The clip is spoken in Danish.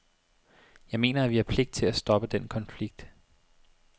Jeg mener, at vi har pligt til at stoppe den konflikt.